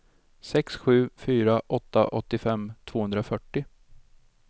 sex sju fyra åtta åttiofem tvåhundrafyrtio